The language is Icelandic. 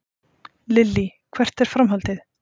Lillý: Hvert er framhaldið?